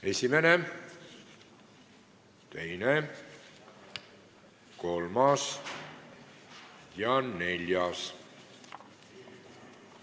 Esimene, teine, kolmas ja neljas ettepanek.